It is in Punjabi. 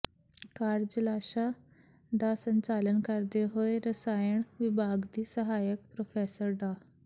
ਕਾਰਜਸ਼ਾਲਾ ਦਾ ਸੰਚਾਲਨ ਕਰਦੇ ਹੋਏ ਰਸਾਇਣ ਵਿਭਾਗ ਦੀ ਸਹਾਇਕ ਪ੍ਰੋਫੈਸਰ ਡਾ